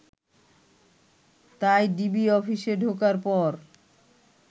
তাই ডিবি অফিসে ঢোকার পর